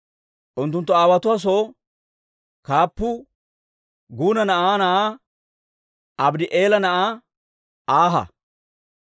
Unttunttu aawotuwaa soo kaappuu Guna na'aa na'aa Abddi'eela na'aa Aaha.